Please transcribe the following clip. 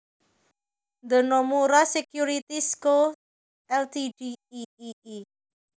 The Nomura Securities Co Ltd iii